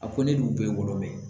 A ko ne dun bɛ wɔlɔlɔ bɛ ye